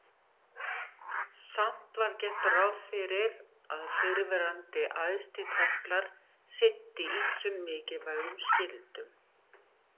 Samt var gert ráð fyrir að fyrrverandi æðstitemplar sinnti ýmsum mikilvægum skyldum.